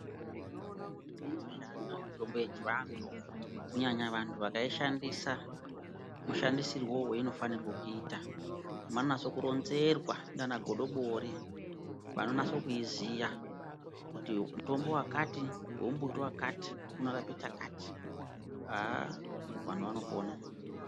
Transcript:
Inoshanda mitombo yechivantu kunyanya vanhu vakaishandisa mushandisirwewo wainofanirwa kuita manase kuronzerwa nana godobori vanonasa kuziya kuti mutombo wakati wombuti wakati unorape chakati aaa vanhu vanopona.